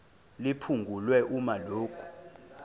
liphungulwe uma lokhu